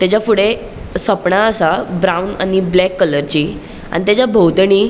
तेजा फुड़े सोपणा असा ब्राउन आणि ब्लैक कलरची आणि तेचा बोवतणि.